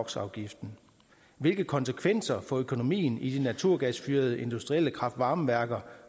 hvilke konsekvenser for økonomien i de naturgasfyrede industrielle kraft varme værker